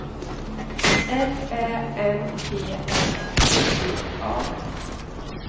L Ä M P L I G A